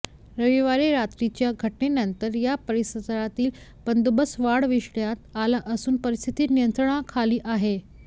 रविवारी रात्रीच्या घटनेनंतर या परिसरातील बंदोबस्त वाढविण्यात आला असून परिस्थिती नियंत्रणाखाली आहे